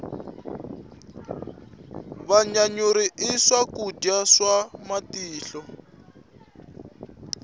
vanyanyuri i swakudya swa matihlo